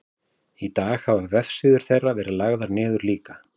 í dag hafa vefsíður þeirra verið lagðar niður líka